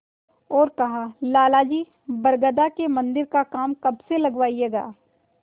और कहालाला जी बरगदा के मन्दिर का काम कब से लगवाइएगा